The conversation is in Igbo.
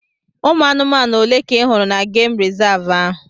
Ụmụ anụmanụ ole ka ị hụrụ na gemụ rizavụ ahụ?